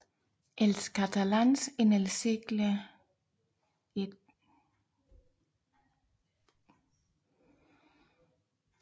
Els catalans en el segle XIX Ed